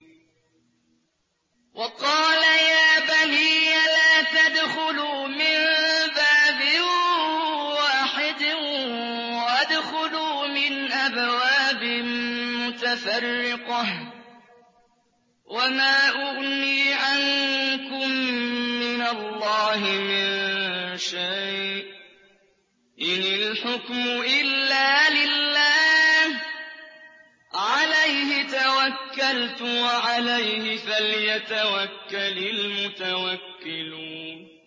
وَقَالَ يَا بَنِيَّ لَا تَدْخُلُوا مِن بَابٍ وَاحِدٍ وَادْخُلُوا مِنْ أَبْوَابٍ مُّتَفَرِّقَةٍ ۖ وَمَا أُغْنِي عَنكُم مِّنَ اللَّهِ مِن شَيْءٍ ۖ إِنِ الْحُكْمُ إِلَّا لِلَّهِ ۖ عَلَيْهِ تَوَكَّلْتُ ۖ وَعَلَيْهِ فَلْيَتَوَكَّلِ الْمُتَوَكِّلُونَ